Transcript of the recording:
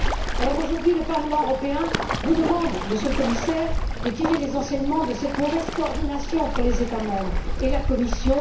Alors, aujourd'hui, le Parlement européen vous demande, Monsieur le Commissaire, de tirer les enseignements de cette mauvaise coordination entre les État membres et la Commission.